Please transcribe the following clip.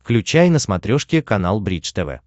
включай на смотрешке канал бридж тв